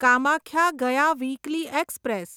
Kamakhya Gaya weekly express